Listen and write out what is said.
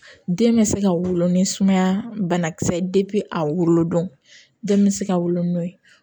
Den bɛ se ka wolo ni sumaya banakisɛ ye a wolo don den bɛ se ka wolo n'o ye